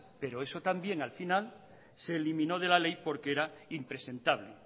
pero eso también al final se eliminó de la ley porque era impresentable